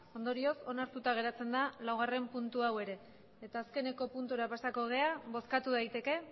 ondorioz onartuta geratzen da laugarren puntu hau ere eta azkeneko puntura pasatuko gara bozkatu daiteke